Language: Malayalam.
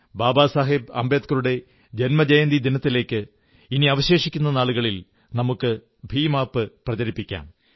ബാബാ സാഹബ് അംബേദ്കറുടെ ജന്മജയന്തിദിനത്തിലേക്ക് ഇനി അവശേഷിക്കുന്ന നാളുകളിൽ നമുക്ക് ഭീം ആപ് പ്രചരിപ്പിക്കാം